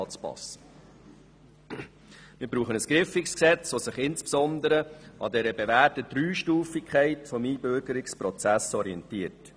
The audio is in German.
Wir brauchen ein griffiges Gesetz, das sich insbesondere an der bewährten Dreistufigkeit des Einbürgerungsprozesses orientiert.